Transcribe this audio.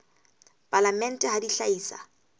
palamente ha di a hlahisa